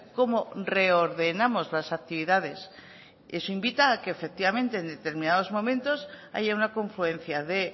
cómo reordenamos las actividades eso invita a que efectivamente en determinados momentos allá una confluencia de